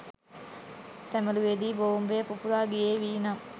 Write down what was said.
සැ මලුවේ දී බෝම්බය පුපුරා ගියේ වී නම්,